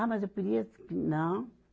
Ah, mas eu queria... Não.